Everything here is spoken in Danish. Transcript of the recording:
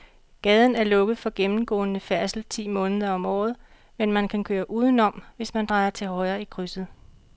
Gaden er lukket for gennemgående færdsel ti måneder om året, men man kan køre udenom, hvis man drejer til højre i krydset.